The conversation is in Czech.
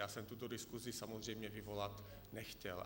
Já jsem tuto diskusi samozřejmě vyvolat nechtěl.